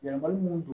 Yɛlɛmali minnu don